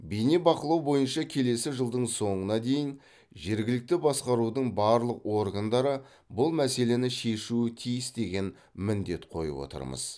бейнебақылау бойынша келесі жылдың соңына дейін жергілікті басқарудың барлық органдары бұл мәселені шешуі тиіс деген міндет қойып отырмыз